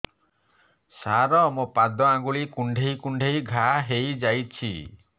ସାର ମୋ ପାଦ ଆଙ୍ଗୁଳି କୁଣ୍ଡେଇ କୁଣ୍ଡେଇ ଘା ହେଇଯାଇଛି